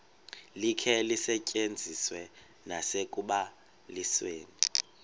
likhe lisetyenziswe nasekubalisweni